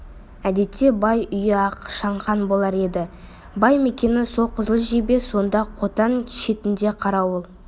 әдетте бай үйі ақ шаңқан болар еді бай мекені сол қызыл жебе сонда қотан шетінде қарауыл